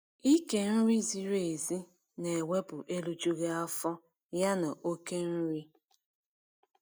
ịke nri ziri ểzi na ewepụ erijughị afọ ya na okể nri